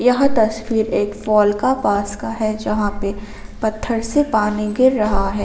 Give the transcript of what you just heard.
यह तस्वीर एक फॉल का पास का है जहां पे पत्थर से पानी गिर रहा है।